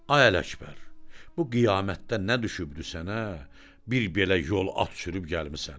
Ay Ələkbər, bu qiyamətdə nə düşübdü sənə, bir belə yol at sürüb gəlmisən?